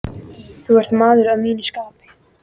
Þú ert maður að mínu skapi.